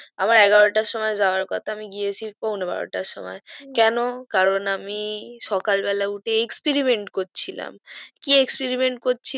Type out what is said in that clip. আমার এগারো টার সময় যাওয়ার কথা আমি গিয়াছি পোনা বারো টার সময় হু কেন কারণ আমি সকাল বেলায় উঠে exeparemant করছিলাম কি exeparement করছি